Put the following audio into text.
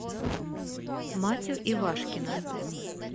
матю ивашкина